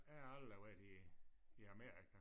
Jeg har aldrig været i i Amerika